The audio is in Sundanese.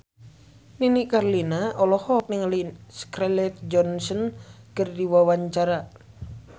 Nini Carlina olohok ningali Scarlett Johansson keur diwawancara